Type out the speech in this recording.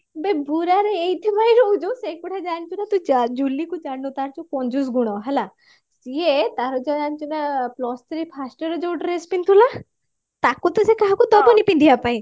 ଆବେ ବୁରା ରେ ଏଇଥି ପାଇଁ ରହୁଛୁ ସେଗୁଡା ଜାଣିଛୁ ନା ତୁ ଜୁଲି କୁ ଜାଣିନୁ ତାର ଟିକେ କଞ୍ଜୁସ ଗୁଣ ହେଲା ସିଏ ତାର କଣ ଜାଣିଛୁ ନା ତାର plus three first year ରେ ଯୋଉ dress ପିନ୍ଧିଥିଲା ତାକୁ ତ ସେ କାହାକୁ ଦବନି ପିନ୍ଧିବା ପାଇଁ